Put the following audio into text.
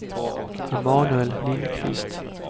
Emanuel Lindkvist